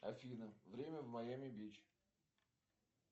афина время в майами бич